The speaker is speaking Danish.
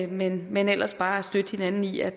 men men ellers bare støtte hinanden i at